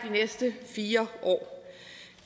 næste fire år